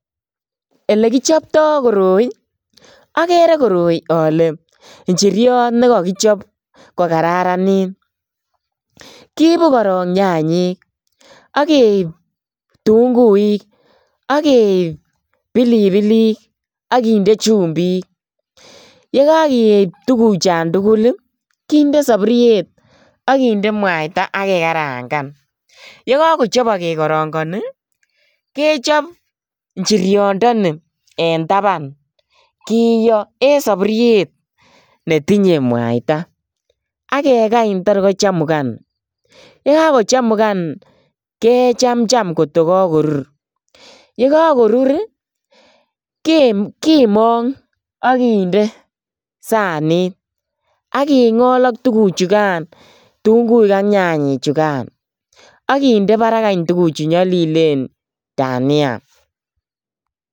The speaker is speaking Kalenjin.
Elekichopto koroi. Agere koroi ale injiriot ne kakichop kogaranit. Kiipu korok nyanyik ak keip tunguik ak keip pilipilik ak kinde chumbik. Yekakeip tuguchon tugul, kinde saburiet ak kinde mwaita ak kekarangan. Yekakochobok kekarongoni kechop injiriondeni en taban. Kiyo en saburiet netinye mwaita ak kekany tor kochamugan. Yekakochamugan kechamcham kotokakorur. Yekakorur kimong ak kinde sanit ak kingol ak tuguchugan tunguik ak nyanyechugan ak kinde barak any tuguchu nyalilen dania.